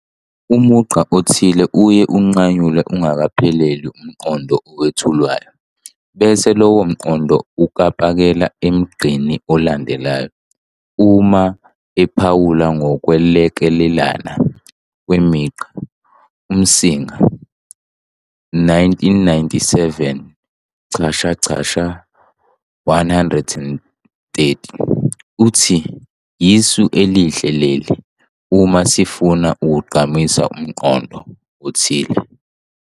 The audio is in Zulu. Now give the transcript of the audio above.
Umugqa othile uye unqanyulwe ungakapheleli umqondo owethulwayo, bese lowo mqondo ukapakela emgqeni olandelayo. Uma ephawula ngokwelekana kwemigqa, uMsimang, 1997- 130, uthi- "Yisu elihle leli uma sifuna ukugqamisa umqondo othile.